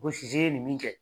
Ko sisi ye nin min kɛ.